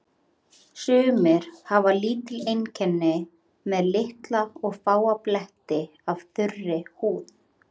Sumir hafa lítil einkenni með litla og fáa bletti af þurri húð.